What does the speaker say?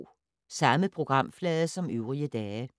Samme programflade som øvrige dage